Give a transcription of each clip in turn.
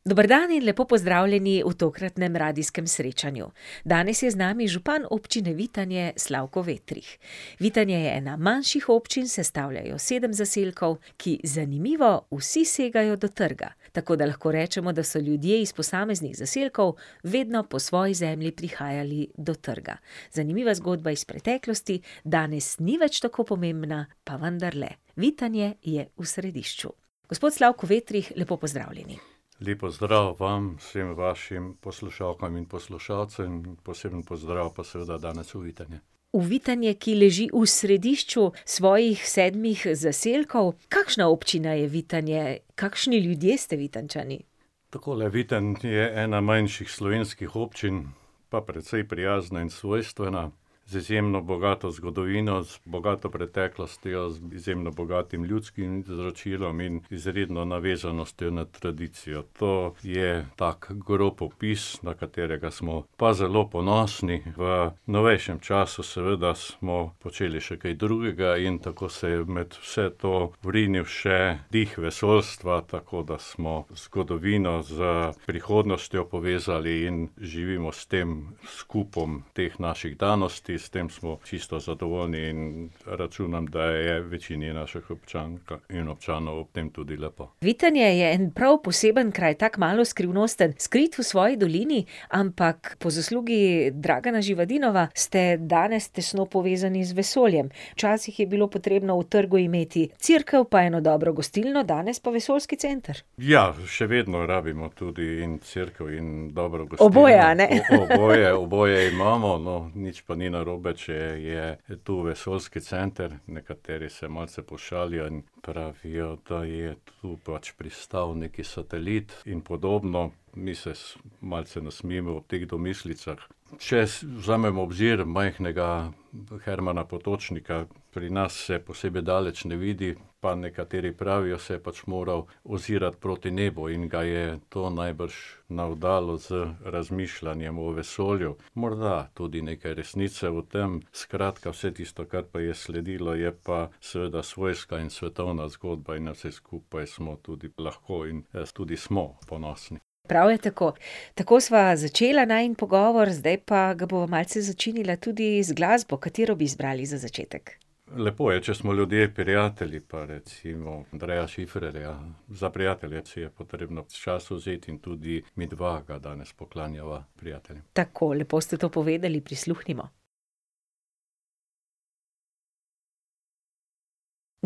Dober dan in lepo pozdravljeni v tokratnem radijskem srečanju. Danes je z nami župan Občine Vitanje, Slavko Vetrih. Vitanje je ena manjših občin, sestavlja jo sedem zaselkov, ki, zanimivo, vsi segajo do trga, tako da lahko rečemo, da so ljudje iz posameznih zaselkov vedno po svoji zemlji prihajali do trga. Zanimiva zgodba iz preteklosti danes ni več tako pomembna, pa vendarle. Vitanje je v središču. Gospod Slavko Vetrih, lepo pozdravljeni. Lep pozdrav vam, vsem vašim poslušalkam in poslušalcem, in poseben pozdrav pa seveda danes v Vitanje. V Vitanje, ki leži v središču svojih sedmih zaselkov. Kakšna občina je Vitanje, kakšni ljudje ste Vitanjčani? Takole, Vitanje je ena manjših slovenskih občin pa precej prijazna in svojstvena, z izjemno bogato zgodovino, z bogato preteklostjo, izjemno bogatim ljudskim izročilom in izredno navezanostjo na tradicijo. To je tako grob opis, na katerega smo pa zelo ponosni. V novejšem času seveda smo počeli še kaj drugega in tako se je med vse to vrinil še dih vesoljstva, tako da smo zgodovino s prihodnostjo povezali in živimo s tem, s kupom teh naših danosti, s tem smo čisto zadovoljni in računam, da je večini naših občank in občanov v tem tudi lepo. Vitanje je en prav poseben kraj, tako malo skrivnosten, skrit v svoji dolini, ampak po zaslugi Dragana Živadinova ste danes tesno povezani z vesoljem. Včasih je bilo potrebno v trgu imeti cerkev pa eno dobro gostilno, danes pa vesoljski center. Ja, še vedno rabimo tudi in cerkev in dobro gostilno. Oboje, oboje imamo, no, Oboje, a ne, nič pa ni narobe, če je tu vesoljski center. Nekateri se malce pošalijo in pravijo, da je tu pač pristal neki satelit in podobno, mi se malce nasmejimo ob teh domislicah. Če vzamemo v obzir majhnega Hermana Potočnika, pri nas se posebej daleč ne vidi, pa nekateri pravijo, se je pač moral ozirati proti nebu in ga je to najbrž navdalo z razmišljanjem o vesolju. Morda tudi nekaj resnice v tem. Skratka, vse tisto, kar pa je sledilo, je pa seveda svojska in svetovna zgodba, in na vse skupaj smo tudi lahko in, tudi smo ponosni. Prav je tako. Tako sva začela najin pogovor, zdaj pa ga bova malce začinila tudi z glasbo, katero bi izbrali za začetek? Lepo je, če smo ljudje prijatelji, pa recimo Andreja Šifrerja, Za prijatelje si je potrebno čas vzet, in tudi midva ga danes poklanjava prijateljem. Tako, lepo ste to povedali, prisluhnimo.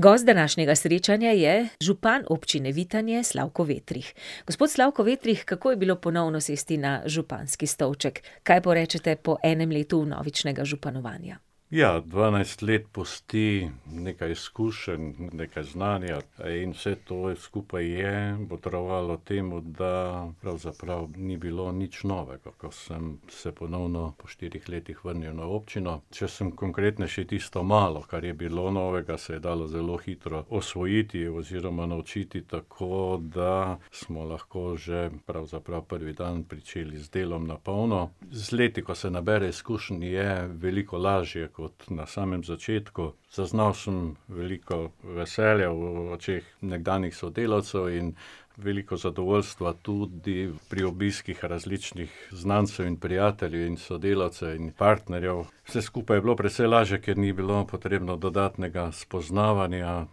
Gost današnjega srečanja je župan Občine Vitanje, Slavko Vetrih. Gospod Slavko Vetrih, kako je bilo ponovno sesti na županski stolček? Kaj porečete po enem letu vnovičnega županovanja? Ja, dvanajst let pusti nekaj izkušenj, nekaj znanja, in vse to skupaj je botrovalo temu, da pravzaprav ni bilo nič novega, ko sem se ponovno po štirih letih vrnil na občino. Če sem konkretnejši, tisto malo, kar je bilo novega, se je dalo zelo hitro osvojiti oziroma naučiti, tako da smo lahko že pravzaprav prvi dan pričeli z delom na polno. Z leti, ko se nabere izkušenj, je veliko lažje kot na samem začetku. Zaznal sem veliko veselja v očeh nekdanjih sodelavcev in veliko zadovoljstva tudi pri obiskih različnih znancev in prijateljev in sodelavcev in partnerjev. Vse skupaj je bilo precej lažje, ker ni bilo potrebno dodatnega spoznavanja.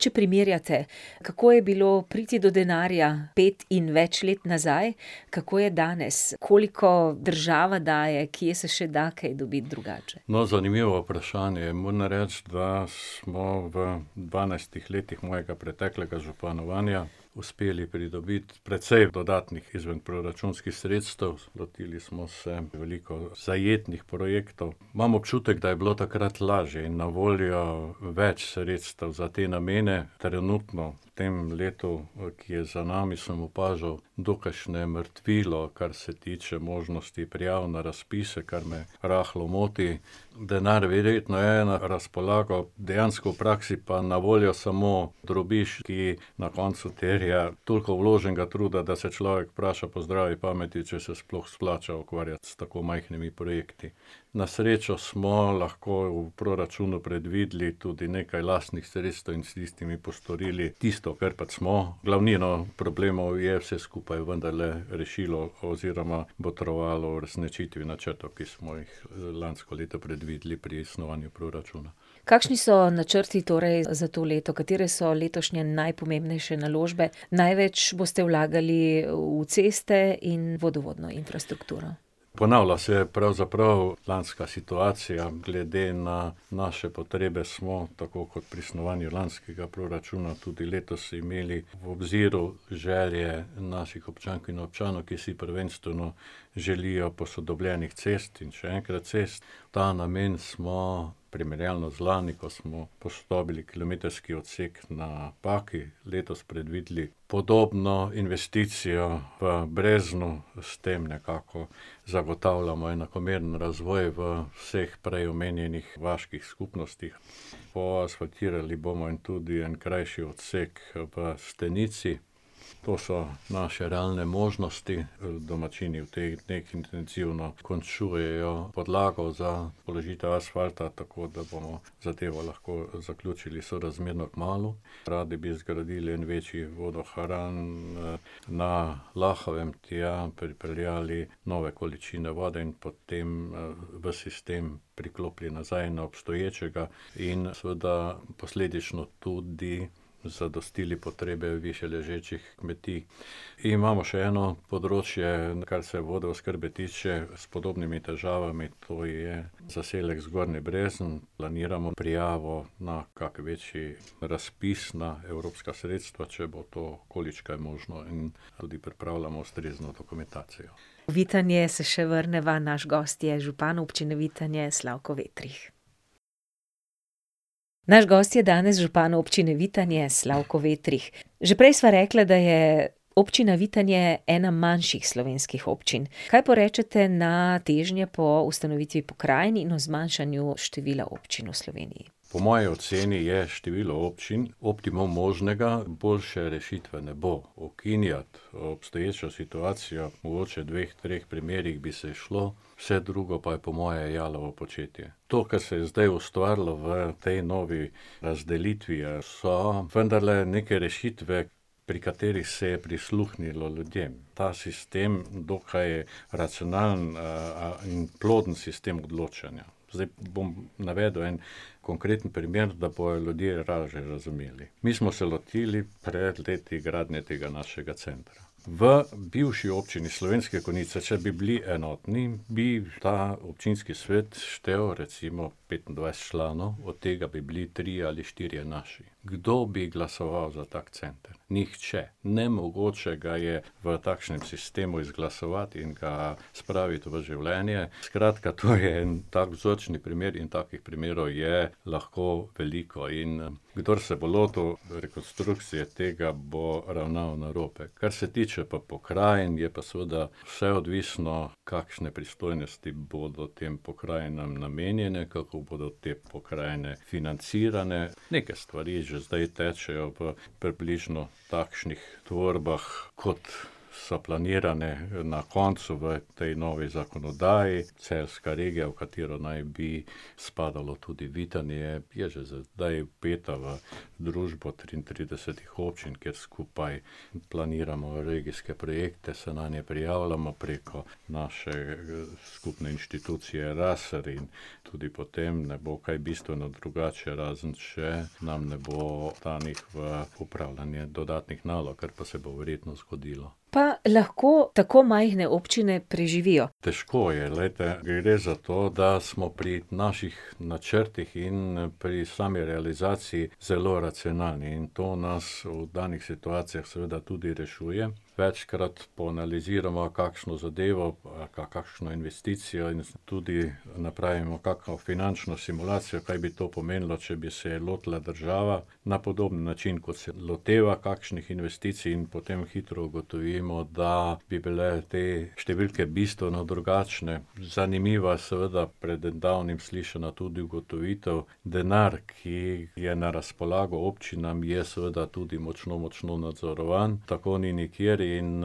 Če primerjate, kako je bilo priti do denarja pet in več let nazaj, kako je danes, koliko država daje, kje se še da kaj dobiti drugače? No, zanimivo vprašanje, moram reči, da smo v dvanajstih letih mojega preteklega županovanja uspeli pridobiti precej dodatnih izvenproračunskih sredstev, lotili smo se veliko zajetnih projektov. Imam občutek, da je bilo takrat lažje in na voljo več sredstev za te namene. Trenutno v tem letu, ki je za nami, sem opažal dokajšnje mrtvilo, kar se tiče možnosti prijav na razpise, kar me rahlo moti. Denar verjetno je na razpolago, dejansko v praksi pa na voljo samo drobiž, ki na koncu terja toliko vloženega truda, da se človek vpraša po zdravi pameti, če se sploh splača ukvarjati s tako majhnimi projekti. Na srečo smo lahko v proračunu predvideli tudi nekaj lastnih sredstev in s tistimi postorili tisto, kar pač smo. Glavnino problemov je vse skupaj vendarle rešilo oziroma botrovalo v uresničitvi načrtov, ki smo jih lansko leto predvideli pri snovanju proračunov. Kakšni so načrti torej za to leto, katere so letošnje najpomembnejše naložbe? Največ boste vlagali v ceste in vodovodno infrastrukturo. Ponavlja se pravzaprav lanska situacija, glede na naše potrebe smo, tako kot pri snovanju lanskega proračuna, tudi letos imeli v obziru želje naših občank in občanov, ki si prvenstveno želijo posodobljenih cest in še enkrat cest. V ta namen smo, primerjalno z lani, ko smo posodobili kilometrski odsek na Paki, letos predvideli podobno investicijo v Breznu, s tem nekako zagotavljamo enakomeren razvoj v vseh prej omenjenih vaških skupnostih. Poasfaltirali bomo in tudi en krajši odsek v Stenici. To so naše realne možnosti. Domačini v teh dneh intenzivno končujejo podlago za položitev asfalta, tako da bomo zadevo lahko zaključili sorazmerno kmalu. Radi bi zgradili en večji vodohram, na Lahovem, tja pripeljali nove količine vode in potem, v sistem priklopili nazaj na obstoječega in seveda posledično tudi zadostili potrebe višje ležečih kmetij. Imamo še eno področje, kar se vodooskrbe tiče, s podobnimi težavami, tu je zaselek Zgornji Brezen, planiramo prijavo na kak večji razpis na evropska sredstva, če bo to količkaj možno, in tudi pripravljamo ustrezno dokumentacijo. V Vitanje se še vrneva, naš gost je župan Občine Vitanje, Slavko Vetrih. Naš gost je danes župan Občine Vitanje, Slavko Vetrih. Že prej sva rekla, da je Občina Vitanje ena manjših slovenskih občin. Kaj porečete na težnje po ustanovitvi pokrajin in o zmanjšanju števila občin v Sloveniji? Po moji oceni je število občin optimum možnega, boljše rešitve ne bo. Ukinjati obstoječo situacijo, mogoče dveh, treh primerih bi se izšlo, vse drugo pa je po moje jalovo početje. To, kar se je zdaj ustvarilo v tej novi razdelitvi, so vendarle neke rešitve, pri katerih se je prisluhnilo ljudem. Ta sistem, dokaj racionalen, in ploden sistem odločanja. Zdaj bom navedel en konkreten primer, da bojo ljudje lažje razumeli. Mi smo se lotili pred leti gradnje tega našega centra. V bivši Občini Slovenske Konjice, če bi bili enotni, bi ta občinski svet štel recimo petindvajset članov, od tega bi bili trije ali štirje naši. Kdo bi glasoval za tak center? Nihče. Nemogoče ga je v takšnem sistemu izglasovati in ga spraviti v življenje, skratka, to je en tak vzorčni primer in takih primerov je lahko veliko in, kdor se bo lotil rekonstrukcije tega, bo ravnal narobe. Kar se tiče pa pokrajin, je pa seveda vse odvisno, kakšne pristojnosti bodo tem pokrajinam namenjene, kako bodo te pokrajine financirane. Neke stvari že zdaj tečejo v približno takšnih tvorbah, kot so planirane, na koncu v tej novi zakonodaji. Celjska regija, v katero naj bi spadalo tudi Vitanje, je že sedaj vpeta v družbo triintridesetih občin, kjer skupaj planiramo regijske projekte, se nanje prijavljamo preko naše, skupne inštitucije . Tudi potem ne bo kaj bistveno drugače, razen če nam ne bo ta neki v, upravljanje dodatnih nalog, kar pa se bo verjetno zgodilo. Pa lahko tako majhne občine preživijo? Težko je, glejte, gre za to, da smo pri naših načrtih in pri sami realizaciji zelo racionalni, in to nas v danih situacijah seveda tudi rešuje. Večkrat poanalizirava kakšno zadevo, kakšno investicijo in tudi napravimo kako finančno simulacijo, kaj bi to pomenilo, če bi se je lotila država na podoben način, kot se loteva kakšnih investicij, in potem hitro ugotovimo, da bi bile te številke bistveno drugačne. Zanimiva seveda, pred davnim slišana tudi ugotovitev, denar, ki je na razpolago občinam, je seveda tudi močno, močno nadzorovan, tako ni nikjer in,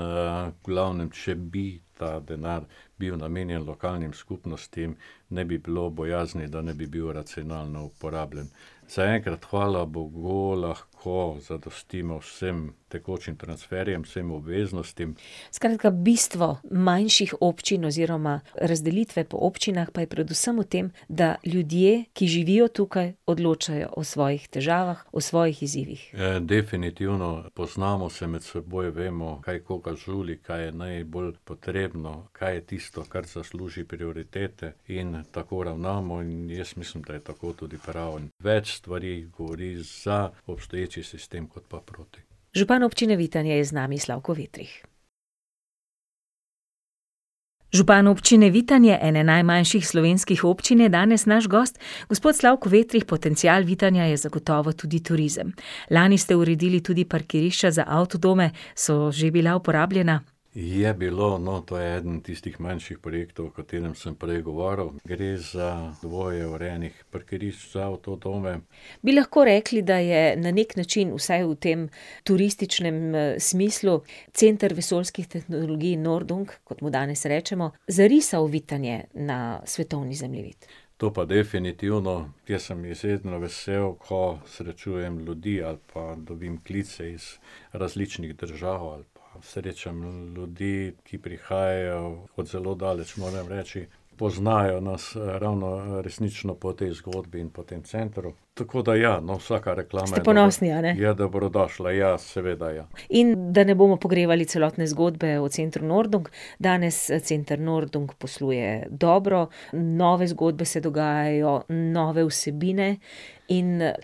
v glavnem, če bi ta denar bil namenjen lokalnim skupnostim, ne bi bilo bojazni, da ne bi bil racionalno uporabljen. Zaenkrat, hvala bogu, lahko zadostimo vsem tekočim transferjem, vsem obveznostim. Skratka, bistvo manjših občin oziroma razdelitve po občinah pa je predvsem v tem, da ljudje, ki živijo tukaj, odločajo o svojih težavah, o svojih izzivih. definitivno, poznamo se med seboj, vemo, kaj koga žuli, kaj je najbolj potrebno, kaj je tisto, kar zasluži prioritete, in tako ravnamo in jaz mislim, da je tako tudi prav. Več stvari govori za obstoječi sistem kot pa proti. Župan Občine Vitanje je z nami, Slavko Vetrih. Župan Občine Vitanje, ene najmanjših slovenskih občin, je danes naš gost. Gospod Slavko Vetrih, potencial Vitanja je zagotovo tudi turizem. Lani ste uredili tudi parkirišča za avtodome, so že bila uporabljena? Je bilo, no, to je eden tistih manjših projektov, o katerem sem prej govoril. Gre za dvoje urejenih parkirišč za avtodome. Bi lahko rekli, da je na neki način vsaj v tem turističnem, smislu Center vesoljskih tehnologij Noordung, kot mu danes rečemo, zarisal Vitanje na svetovni zemljevid? To pa definitivno. Jaz sem izredno vesel, ko srečujem ljudi ali pa dobim klice iz različnih držav ali pa srečam, ljudi, ki prihajajo od zelo daleč, moram reči, poznajo nas ravno, resnično po tej zgodbi in po tem centru. Tako da ja, no, vsaka reklama je je dobrodošla, ja, seveda, ja. Ste ponosni, a ne? In, da ne bomo pogrevali celotne zgodbe o Centru Noordung, danes, Center Noordung posluje dobro. Nove zgodbe se dogajajo, nove vsebine. In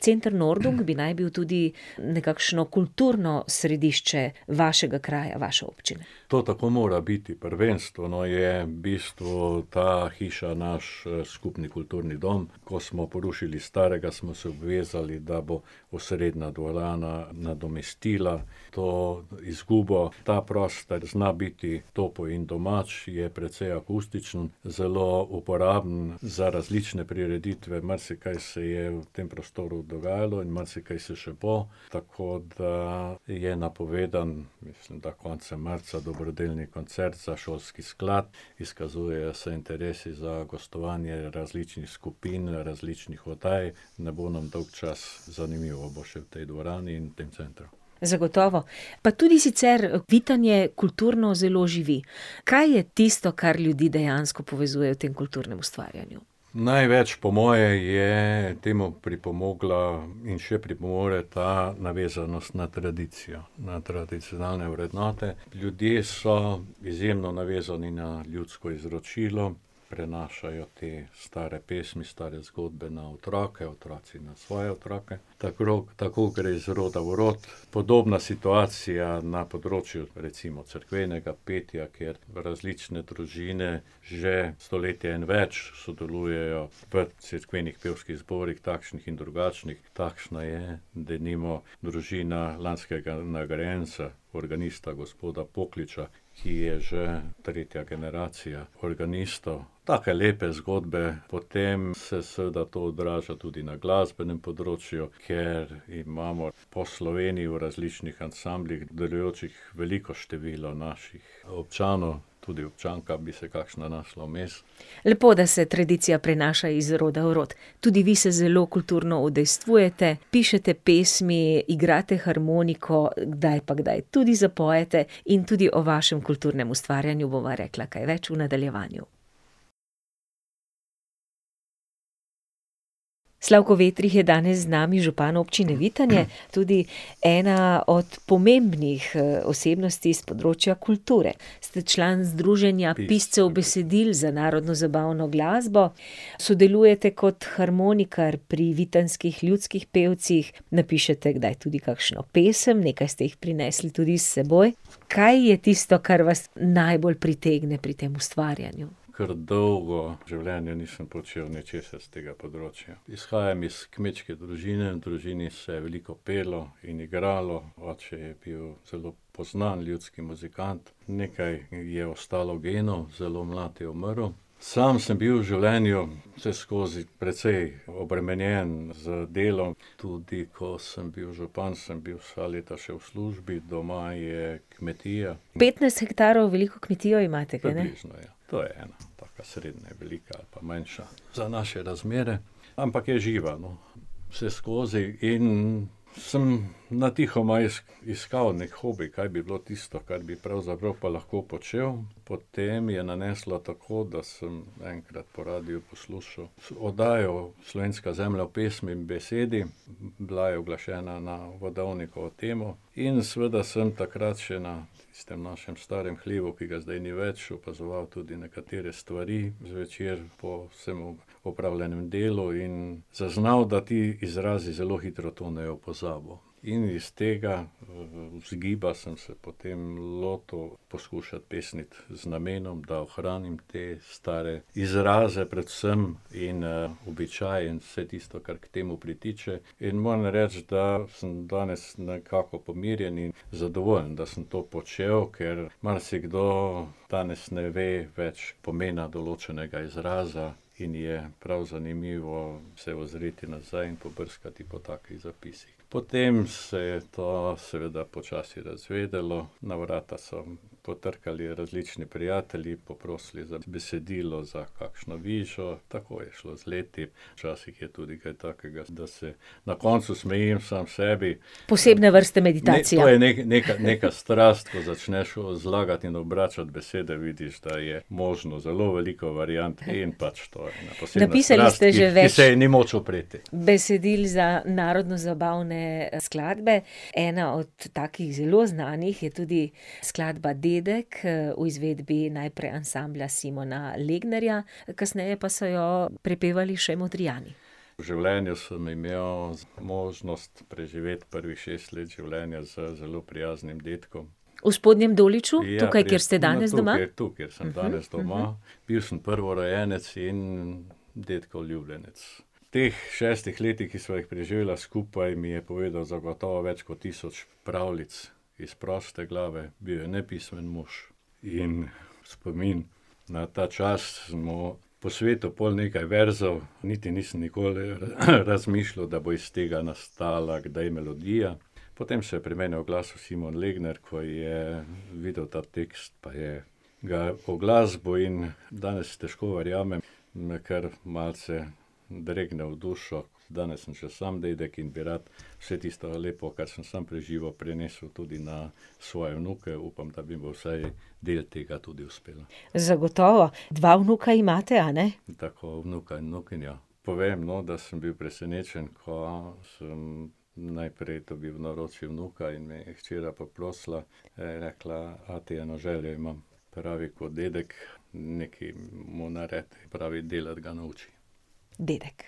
Center Noordung bi naj bil tudi nekakšno kulturno središče vašega kraja, vaše občine. To tako mora biti, prvenstveno je v bistvu ta hiša naš, skupni kulturni dom. Ko smo porušili starega, smo se obvezali, da bo osrednja dvorana nadomestila to izgubo. Ta prostor zna biti topel in domač, je precej akustičen, zelo uporaben za različne prireditve, marsikaj se je v tem prostoru dogajalo in marsikaj se še bo. Tako da je napovedan, mislim, da konca marca dobrodelni koncert za šolski sklad. Izkazujejo se interesi za gostovanje različnih skupin, različnih oddaj, ne bo nam dolgčas, zanimivo bo še v tej dvorani in v tem centru. Zagotovo. Pa tudi sicer Vitanje kulturno zelo živi. Kaj je tisto, kar ljudi dejansko povezuje v tem kulturnem ustvarjanju? Največ po moje je temu pripomogla in še pripomore ta navezanost na tradicijo, na tradicionalne vrednote. Ljudje so izjemno navezani na ljudsko izročilo. Prenašajo te stare pesmi, stare zgodbe na otroke, otroci na svoje otroke. tako gre iz roda v rod. Podobna situacija na področju recimo cerkvenega petja, kjer različne družine že stoletje in več sodelujejo v cerkvenih pevskih zborih, takšnih in drugačnih, takšna je denimo družina lanskega nagrajenca, organista, gospoda Pokliča, ki je že tretja generacija organistov. Take lepe zgodbe, potem se seveda to odraža tudi na glasbenem področju, ker imamo po Sloveniji v različnih ansamblih delujočih veliko število naših občanov, tudi občanka bi se kakšna našla vmes. Lepo, da se tradicija prenaša iz roda v rod. Tudi vi se zelo kulturno udejstvujete, pišete pesmi, igrate harmoniko, kdaj pa kdaj tudi zapojete in tudi o vašem kulturnem ustvarjanju bova rekla kaj več v nadaljevanju. Slavko Vetrih je danes z nami, župan Občine Vitanje, tudi ena od pomembnih, osebnosti s področja kulture. Ste član združenja piscev besedil za narodnozabavno glasbo. Sodelujete kot harmonikar pri vitanjskih Ljudskih pevcih, napišete kdaj tudi kakšno pesem, nekaj ste jih prinesli tudi s seboj. Kaj je tisto, kar vas najbolj pritegne pri tem ustvarjanju? Kar dolgo življenje nisem počel ničesar s tega področja. Izhajam iz kmečke družine, v družini se je veliko pelo in igralo, oče je bil celo poznan ljudski muzikant. Nekaj je ostalo genov, zelo mlad je umrl. Sam sem bil v življenju vseskozi precej obremenjen z delom, tudi ko sem bil župan, sem bil vsa leta še v službi. Doma je kmetija. Petnajst hektarov veliko kmetijo imate, kajne? Približno, ja. To je ena taka srednje velika ali pa manjša za naše razmere. Ampak je živa, no, vseskozi. In sem natihoma iskal neki hobi, kaj bi bilo tisto, kar bi pravzaprav pa lahko počel. Potem je naneslo tako, da sem enkrat po radiu poslušal oddajo Slovenska zemlja v pesmi in besedi, bila je uglašena na godovnikovo temo, in seveda sem takrat še na tistem našem starem hlevu, ki ga zdaj ni več, opazoval tudi nekatere stvari zvečer po vsem opravljenem delu in zaznal, da ti izrazi zelo hitro tonejo v pozabo. In iz tega vzgiba sem se potem lotil poskušati pesniti z namenom, da ohranim te stare izraze predvsem in, običaje in vse tisto, kar k temu pritiče, in moram reči, da sem danes nekako pomirjen in zadovoljen, da sem to počel, ker marsikdo danes ne ve več pomena določenega izraza in je prav zanimivo se ozreti nazaj in pobrskati po takih zapisih. Potem se je to seveda počasi razvedelo, na vrata so potrkali različni prijatelji, poprosili za besedilo, za kakšno vižo, tako je šlo z leti, včasih je tudi kaj takega, da se na koncu smejijo sami sebi. Posebne vrste meditacija. Neko je, neka strast, ko začneš, zlagati in obračati besede, vidiš, da je možno zelo veliko variant, in pač to je to, posebej , ki se ji ni moč upreti. Napisali ste že več besedil za narodnozabavne skladbe. Ena od takih zelo znanih je tudi skladba Dedek, v izvedbi najprej Ansambla Simona Legnarja, kasneje pa so jo prepevali še Modrijani. V življenju sem imel možnost preživeti prvih šest let življenja z zelo prijaznim dedkom. V Spodnjem Doliču, tukaj, kjer ste danes doma? Ja, jaz sem tukaj, tukaj sem danes doma. Bil sem prvorojenec in dedkov ljubljenec. V teh šestih letih, ki sva jih preživela skupaj, mi je povedal zagotovo več kot tisoč pravljic, iz proste glave, bil je nepismen mož. In v spomin na ta čas sem mu posvetil pol nekaj verzov, niti nisem nikoli, razmišljal, da bo iz tega nastala kdaj melodija. Potem se je pri meni oglasil Simon Legnar, ko je videl ta tekst pa je ga uglasbil, in danes težko verjamem, me kar malce dregne v dušo, danes sem še sam dedek in bi rad vse tisto lepo, kar sem sam doživel, prenesel tudi na svoje vnuke, upam, da mi bo vsaj del tega tudi uspelo. Zagotovo. Dva vnuka imate, a ne? Tako, vnuka in vnukinjo. Povem, no, da sem bil presenečen, ko sem naprej dobil v naročje vnuka in me je hčera poprosila, je rekla: "Ati, eno željo imam." Pravi: "Kot dedek, nekaj mu naredi." Pravi: "Delati ga nauči." Dedek.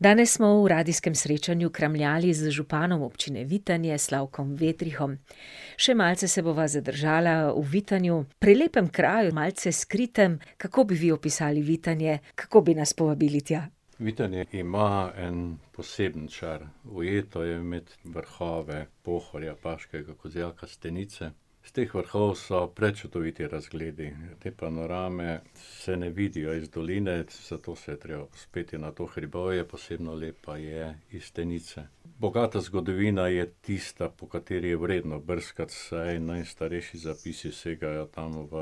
Danes smo v radijskem srečanju kramljali z županom Občine Vitanje, Slavkom Vetrihom. Še malce se bova zadržala v Vitanju, pri lepem kraju, malce skritem, kako bi vi opisali Vitanje, kako bi nas povabili tja? Vitanje ima en poseben čar. Ujeto je med vrhove Pohorja, Baškega Kozjaka, Stenice. S teh vrhov so prečudoviti razgledi. Te panorame se ne vidijo iz doline, zato se je treba povzpeti na to hribovje, posebno lepa je iz Stenice. Bogata zgodovina je tista, po kateri je vredno brskati, saj najstarejši zapisi segajo tam v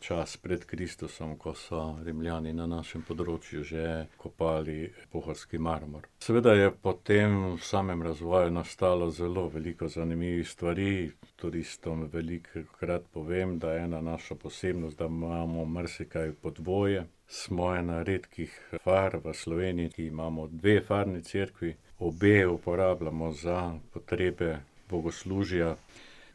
čas pred Kristusom, ko so Rimljani na našem področju že kopali pohorski marmor. Seveda je potem v samem razvoju nastalo zelo veliko zanimivih stvari. Turistom velikokrat povem, da je ena naša posebnost, da imamo marsikaj po dvoje. Smo ena redkih far v Sloveniji, ki imamo dve farni cerkvi, obe uporabljamo za potrebe bogoslužja.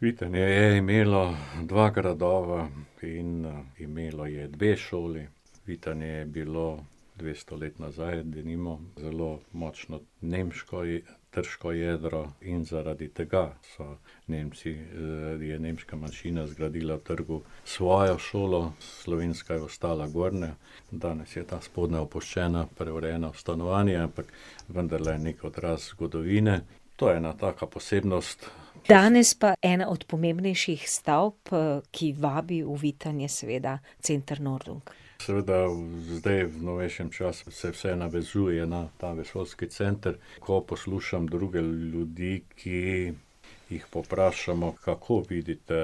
Vitanje je imelo dva gradova in, imelo je dve šoli. Vitanje je bilo dvesto let nazaj, denimo, zelo močno nemško in trško jedro. In zaradi tega so Nemci, je nemška manjšina zgradila trgu svojo šolo, slovenska je ostala gornja. Danes je ta spodnja opuščena, preurejena v stanovanje, ampak vendarle neki odraz zgodovine. To je ena taka posebnost. Danes pa ena od pomembnejših stavb, ki vabi v Vitanje, seveda Center Noordung. Seveda, zdaj, v novejšem času, se vse navezuje na ta vesoljski center. Ko poslušam druge ljudi, ki jih povprašamo, kako vidite,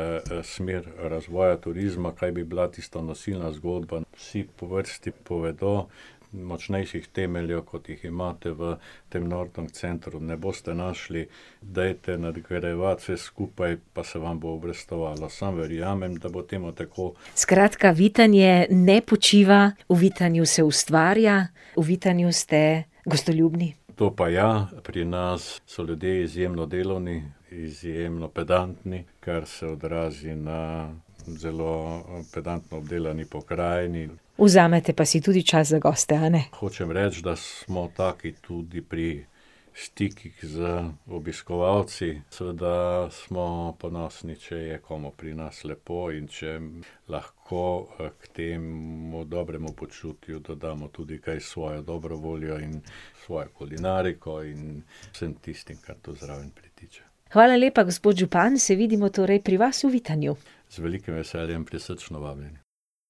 smer razvoja turizma, kaj bi bila tista nosilna zgodba, vsi po vrsti povedo: "Močnejših temeljev, kot jih imate v tem Noordung centru, ne boste našli. Dajte nadgrajevat vse skupaj, pa se vam bo obrestovalo." Sam verjamem, da bo temu tako. Skratka, Vitanje ne počiva, v Vitanju se ustvarja, v Vitanju ste gostoljubni. To pa ja, pri nas so ljudje izjemno delovni, izjemno pedantni, kar se odrazi na zelo pedantno obdelani pokrajini. Vzamete pa si tudi čas za goste, a ne? Hočem reči, da smo taki tudi pri stikih z obiskovalci. Seveda smo ponosni, če je komu pri nas lepo in če lahko, k temu dobremu počutju dodamo tudi kaj, svojo dobro voljo in svojo kulinariko in vsem tistim, kar tu zraven pritiče. Hvala lepa, gospod župan, se vidimo torej pri vas v Vitanju. Z velikim veseljem, prisrčno vabljeni.